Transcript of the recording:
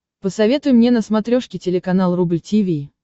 посоветуй мне на смотрешке телеканал рубль ти ви